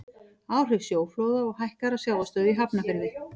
áhrif sjóflóða og hækkaðrar sjávarstöðu í hafnarfirði